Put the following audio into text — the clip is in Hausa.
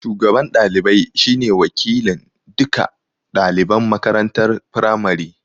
Shugaban ɗalibaj shi ne wakilin duka ɗaliban makarantar firamari